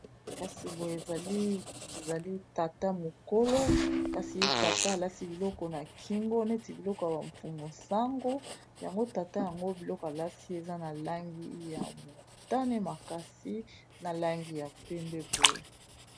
Kasi boye ezali tata mokolo kasi tata alati biloko na kingo neti biloko ya ba mfumu sango yango tata yango biloko alati eza na langi ya motane makasi na langi ya pembe boye.